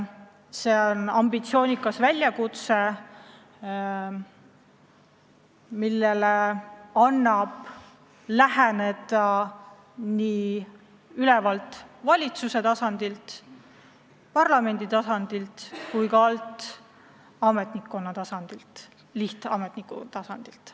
See on ambitsioonikas väljakutse, millele annab läheneda nii ülevalt, valitsuse ja parlamendi tasandilt kui ka alt, ametnikkonna tasandilt, lihtametniku tasandilt.